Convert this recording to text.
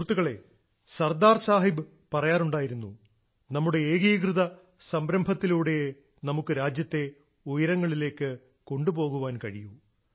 സുഹൃത്തുക്കളേ സർദാർ സാഹിബ് പറയാറുണ്ടായിരുന്നു നമ്മുടെ ഏകീകൃത സംരഭത്തിലൂടെയേ നമുക്ക് രാജ്യത്തെ ഉയരങ്ങളിലേക്ക് കൊണ്ടു പോകാൻ കഴിയൂ